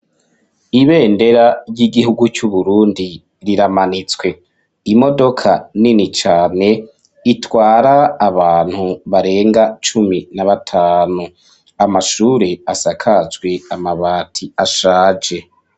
Ibendera, ry'igihugu c'Uburundi, riramanitswe; imodoka nini cane, itwara abantu, barenga cumi na batanu; amashure asakajwe amabati, ashaje.